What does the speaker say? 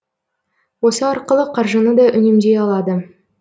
осы арқылы қаржыны да үнемдей алады